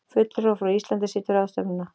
Fulltrúi frá Íslandi situr ráðstefnuna